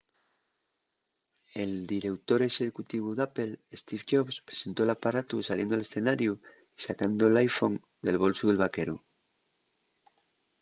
el direutor exécutivu d'apple steve jobs presentó l’aparatu saliendo al escenariu y sacando l’iphone del bolsu del vaqueru